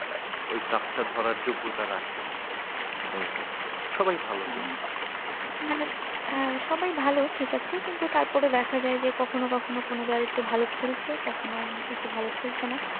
ওই কাপটা ধরার যোগ্যতা রাখে। এই আর কি সবাই ভালো team মানে সবাই ভালো ঠিক আছে, কিন্তু তারপরেও দেখা যায় যে কখনো কখনো কোনো দল একটু ভালো খেলছে, কখনো একটা ভালো খেলছে না।